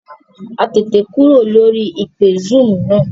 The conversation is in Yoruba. A tètè kúrò lórí ìpè zúúmù náà